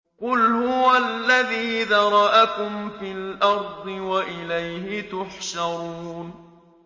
قُلْ هُوَ الَّذِي ذَرَأَكُمْ فِي الْأَرْضِ وَإِلَيْهِ تُحْشَرُونَ